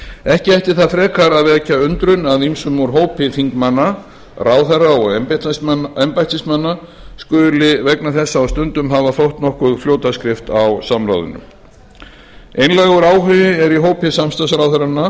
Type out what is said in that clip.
ekki ætti það frekar að vekja undrun að ýmsum úr hópi þingmanna ráðherra og embættismanna skuli vegna þessa á stundum hafa þótt nokkur fljótaskrift á samráðinu einlægur áhugi er í hópi samstarfsráðherranna